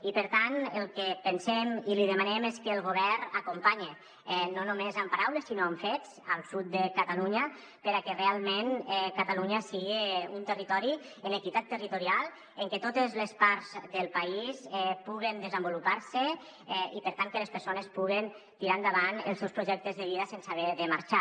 i per tant el que li demanem és que el govern acompanye no només amb paraules sinó amb fets el sud de catalunya perquè realment catalunya siga un territori amb equitat territorial en que totes les parts del país puguen desenvolupar se i per tant que les persones puguen tirar endavant els seus projectes de vida sense haver ne de marxar